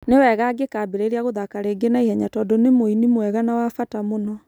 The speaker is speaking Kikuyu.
Nĩ wega angĩkambĩrĩria gũthaaka rĩngĩ na ihenya tondũ nĩ mũini mwega na wa bata mũno.'